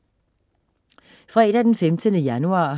Fredag den 15. januar